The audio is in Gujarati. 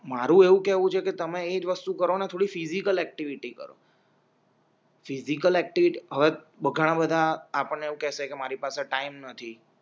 મારું એવું કેવું છે કે તમે ઈ વસ્તુ કરો ને થોડી ફિઝિકલ ઍક્ટિવિટી કરો ફિજિકલ એક્ટિવિટી હવે ઘણા બધા આપણે એવું કહેશે કે મારી પાસે ટાઈમ નથી